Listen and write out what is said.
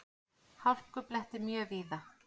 Hálkublettir mjög víða